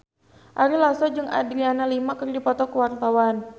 Ari Lasso jeung Adriana Lima keur dipoto ku wartawan